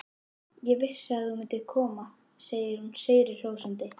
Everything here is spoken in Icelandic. Ég vissi að þú myndir koma, segir hún sigri hrósandi.